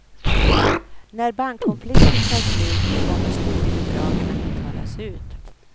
När bankkonflikten tar slut kommer studiebidragen att betalas ut.